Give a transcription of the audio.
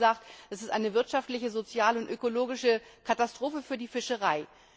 Er hat auch gesagt, das ist eine wirtschaftliche, soziale und ökologische Katastrophe für die Fischerei.